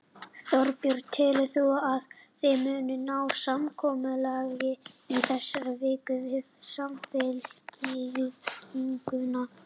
Þorbjörn: Telur þú að þið munið ná samkomulagi í þessari viku, við Samfylkinguna?